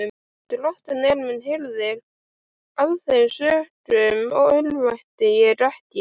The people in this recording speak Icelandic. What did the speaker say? Drottinn er minn hirðir, af þeim sökum örvænti ég ekki.